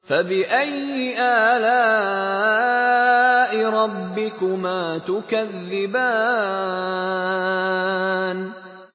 فَبِأَيِّ آلَاءِ رَبِّكُمَا تُكَذِّبَانِ